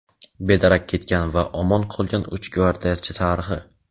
bedarak ketgan va omon qolgan uch gvardiyachi tarixi.